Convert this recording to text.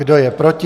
Kdo je proti?